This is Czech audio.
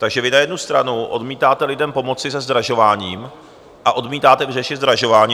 Takže vy na jednu stranu odmítáte lidem pomoci se zdražováním a odmítáte vyřešit zdražování.